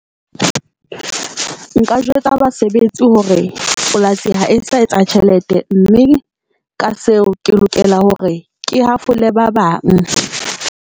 Nka jwetsa basebetsi hore polasi ha e sa etsa tjhelete, mme ka seo ke lokela hore ke hafole ba bang.